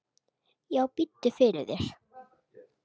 Já, biddu fyrir þér.